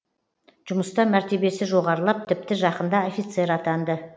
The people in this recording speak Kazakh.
жұмыста мәртебесі жоғарылап тіпті жақында офицер атанды